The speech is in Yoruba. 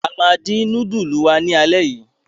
A máa dín núdúlù wa lálẹ́ yìí!